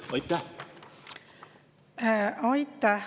Aitäh!